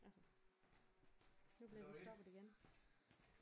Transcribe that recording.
Altså nu bliver stoppet igen